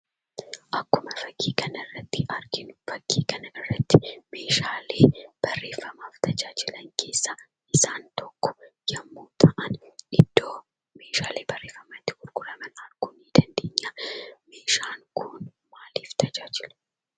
Akkuma fakkii kanarratti arginu, fakkii kanarratti, meeshaalee barreeffamaaf tajaajilan keessaa isaan tokko yemmuu ta'an, iddo meeshaalee barreeffamaa itti gurguraman arguu dandeenya. Meeshaan kun maaliif tajaajila ?